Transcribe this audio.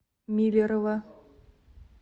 миллерово